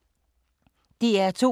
DR2